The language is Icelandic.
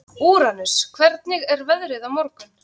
Úranus, hvernig er veðrið á morgun?